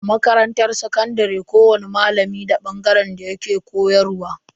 A makarantar sakandare kowani malami da bangaren da yake koyarwa.